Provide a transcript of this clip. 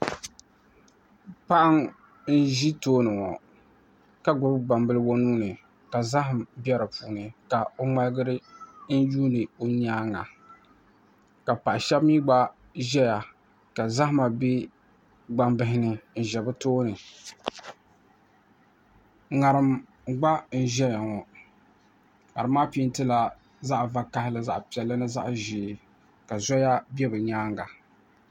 Paɣa n ʒi tooni ŋɔ ka gbubi gbambili o nuuni ka zaham bɛ di puuni ka o ŋmaligi n yuundi o nyaanga ka paɣa shab mii gba ʒɛya ka zahama bɛ gbambihi ni n ʒɛ bi tooni ŋarim gba n ʒɛya ŋɔ ŋarim maa peentila zaɣ vakaɣali zaɣ piɛlli ni zaɣ ʒiɛ ka zoya bɛ bi nyaanga